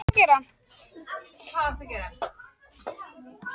Staðhæfing Morgunblaðsins er því röng